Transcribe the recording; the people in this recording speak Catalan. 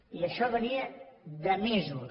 i això venia de mesos